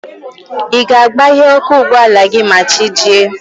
Ị ga-agbaghe ọkụ ụgbọala gị ma chi jie?